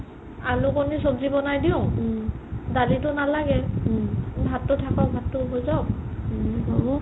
আলু কণি সব্জি বনাই দিও দালিটো নালাগে ভাতটো থাকক ভাতটো হৈ যাওক